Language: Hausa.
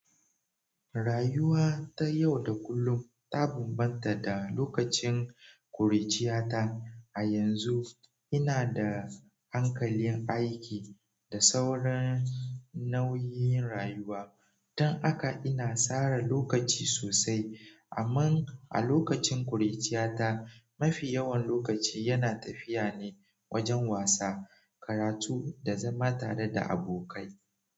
Rayuwa tayau da kullum, ta bambanta da lokacin ƙuruciyata. A yanzu inada hankalin aiki da sauran nauyin rayuwa, don haka ina sara lokaci sosai. Amma a lokacin ƙuruciyata, mafi yawan lokaci yana tafiya ne wajen wasa, karatu da zama tareda abokai.